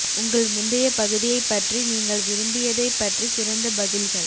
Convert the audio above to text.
உங்கள் முந்தைய பகுதியைப் பற்றி நீங்கள் விரும்பியதைப் பற்றி சிறந்த பதில்கள்